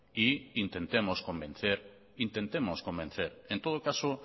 e intentemos convencer en todo caso